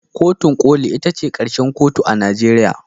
Kotun koli ita ce karshen kotu a Najeriya